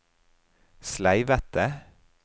sleivete